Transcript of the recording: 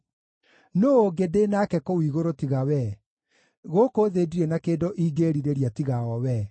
Nũũ ũngĩ ndĩ nake kũu igũrũ tiga Wee? Gũkũ thĩ ndirĩ na kĩndũ ĩngĩĩrirĩria tiga o Wee.